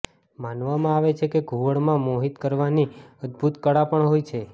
માનવામાં આવે છે કે ઘુવડ માં મોહિત કરવાની અદ્દભુત કળા પણ હોય છે